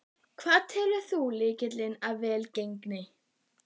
Hvað telur þú vera lykilinn að velgengninni?